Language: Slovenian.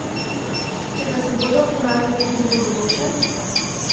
Če pa se bodo ponavljale tudi v bodoče?